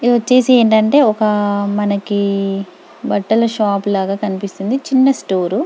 ఇది వచ్చేసి ఏంటంటే ఒక మనకి బట్టల షాప్ లాగ కనిపిస్తుంది చిన్న స్టోర్ --